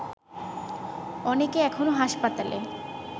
অনেকে এখনো হাসপাতালে